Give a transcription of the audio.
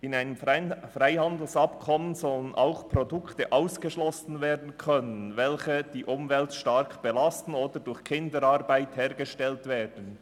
In einem Freihandelsabkommen sollen auch Produkte ausgeschlossen werden können, welche die Umwelt stark belasten oder durch Kinderarbeit hergestellt werden.